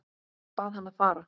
Bað hann að fara.